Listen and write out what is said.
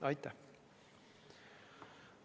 Aitäh!